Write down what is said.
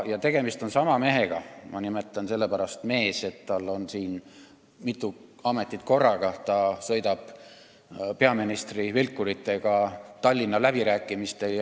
Ja tegemist on sama mehega – ma nimetan teda sellepärast meheks, et tal on mitu ametit korraga –, kes sõidab peaministrina vilkuritega läbirääkimistele Tallinna teemal.